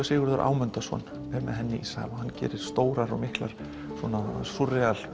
Sigurður Ámundason sem er með henni í sal hann gerir stórar og miklar